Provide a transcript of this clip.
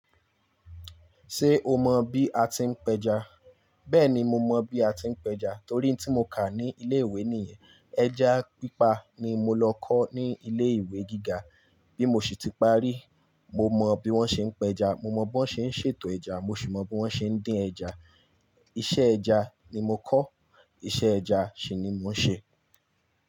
Ṣé o mọ bí a ti ń péja? Bẹ́ẹ̀ni, mo mọ bí a ti ń péja torí tí mo kà ní ilé ìwé nìyẹn. Ẹja pípa ni mo lọ kọ́ ní ilé ìwé gíga. Bí mo sì ti parí, mo mọ bí wón ṣe ń péja, mo mọ bí wón ṣe ń ṣètò ẹja, mo sì mọ bí wón ṣe ń dín ẹja. Iṣẹ́ ẹja ni mo kọ́, iṣẹ́ ẹja sì ni mo ń ṣe.